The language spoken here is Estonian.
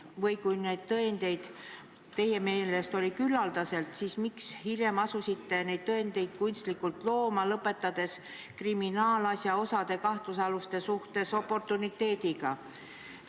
Või kui tõendeid oli teie meelest küllaldaselt, siis miks te hiljem asusite neid kunstlikult looma, lõpetades kriminaalasja osa kahtlusaluste suhtes oportuniteediga?